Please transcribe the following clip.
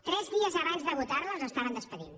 tres dies abans de votar la els estaven acomiadant